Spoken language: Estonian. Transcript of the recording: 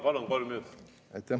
Palun, kolm minutit!